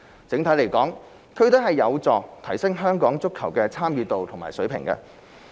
整體而言，區隊有助提升香港足球的參與度和水平。